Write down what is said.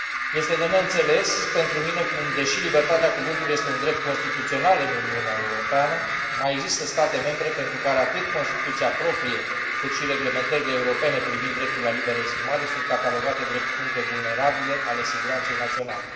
Este de neînțeles pentru mine cum, deși libertatea cuvântului este un drept constituțional în Uniunea Europeană, mai există state membre pentru care atât Constituția proprie, cât și reglementările europene privind dreptul la liberă exprimare sunt catalogate drept puncte vulnerabile ale siguranței naționale.